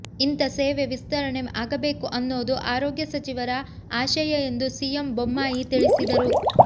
ಇಂತ ಸೇವೆ ವಿಸ್ತರಣೆ ಆಗಬೇಕು ಅನ್ನೋದು ಆರೋಗ್ಯ ಸಚಿವರ ಆಶಯ ಎಂದು ಸಿಎಂ ಬೊಮ್ಮಾಯಿ ತಿಳಿಸಿದರು